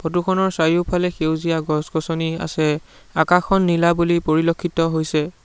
Photo খনৰ চাৰিওফালে সেউজীয়া গছ গছনি আছে আকাশখন নীলা বুলি পৰিলক্ষিত হৈছে।